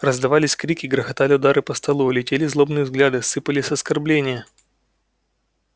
раздавались крики грохотали удары по столу летели злобные взгляды сыпались оскорбления